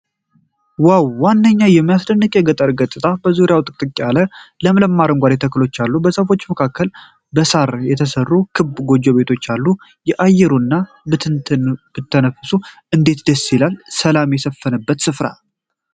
ዋው! ምንኛ የሚያስደንቅ የገጠር ገጽታ! ዙሪያውን ጥቅጥቅ ያለ ለምለም አረንጓዴ ተክሎች አሉ። በዛፎች መካከል በሳር የተሰሩ ክብ ጎጆ ቤቶች አሉ። አየሩን ብትተነፍሱት እንዴት ደስ ይል! ሰላም የሰፈነበት ስፍራ!